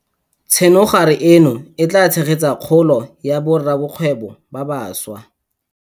Tsenogare eno e tla tshegetsa kgolo ya borakgwebo ba bašwa.